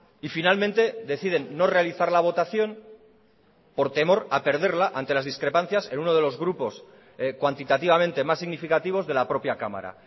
y finalmente deciden no realizar la votación por temor a perderla ante las discrepancias en uno de los grupos cuantitativamente más significativos de la propia cámara